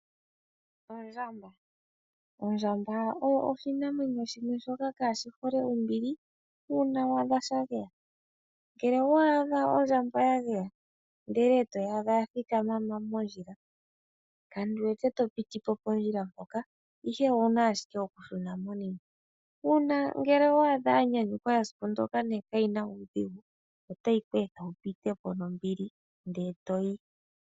Ondjamba oyo oshinamwenyo shimwe shoka kaashi hole ombili uuna waadha shageya. Ngele owa adha ondjamba ya geya ndele etoyi adha yathikama mondjila kandi wete topitipo pondjila mpoka ihe owuna ashike okushuna monima. Uuna ngele owa adha yanyanyuka esiku ndyoka nenge kaayina uudhigu otayi kweetha wupitepo nombili ndele etoyi.